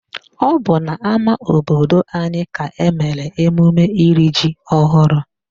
Ọ bụ n'ama obodo anyị ka emere emume iri ji ọhụrụ